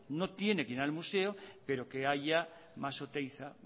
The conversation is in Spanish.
no tiene que ir al museo pero que haya más oteiza